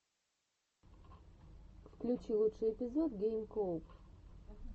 включи лучший эпизод гейм коуб